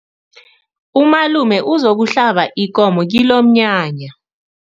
Umalume uzokuhlaba ikomo kilomnyanya.